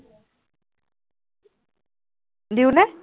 দিওঁনে?